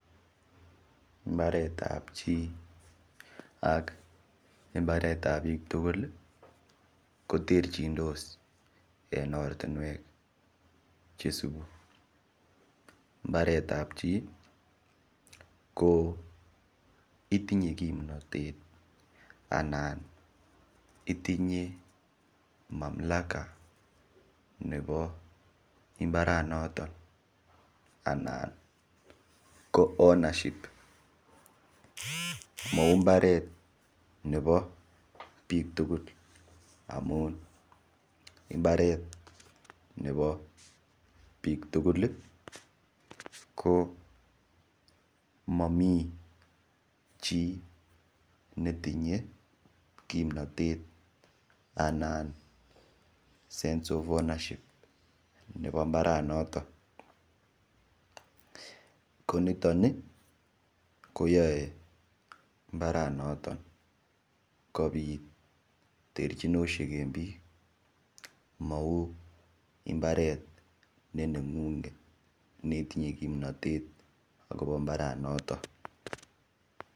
Mbaret ab chi ak imbaret ab biiik tugul koterchindos en ortinwek che isubi: mbaret ab chi ko itinye kimnatet anan itinye mamlaka nebo mbaranoton, anan ko ownership mau mbaret nebo biik tugul amun mbaret nebo biik tugul ko momi chi netinye kimnatet anan sense of ownership nebo mbaranoto. Konito ni koyae mbaranoton kobit terchiniosiek en biik mau imbaret ne neng'ung'et ne itinye kimnatet kobo mbaranoto.